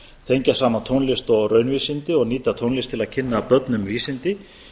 tengja saman tónlist og raunvísindi og nýta tónlist til að kynna börnum vísindi